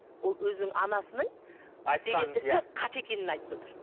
ол өзінің анасының істеген ісі қате екенін айтып отыр